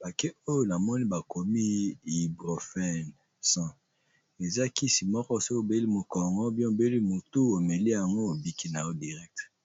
pake oyo namoni bakomi hyprofen 100 eza kisi moko soki obeli mokongo bien obeli mutu omeli yango obiki na yo directe.